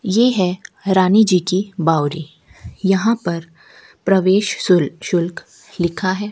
ये है रानी जी की बावरी यहां पर प्रवेश शुल्क शुल्क लिखा है।